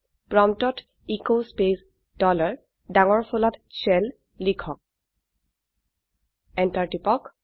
প্ৰম্পটত S space dollar ডাঙৰ ফলাত শেল লিখক এন্টাৰ টিপক